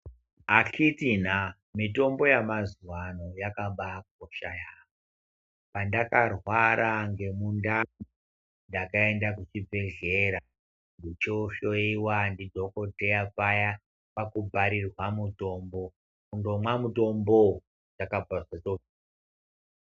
Akhiti naa mitombo yamazuva ano yakabayakocha yaamho. Pandakarwara ngemundani ndakaenda kuchibhedhlera ndichohoiwa ndidhogodheya paya kwakubharirwa mutombo, kundomwa mutombovo zvakabva zvatopera.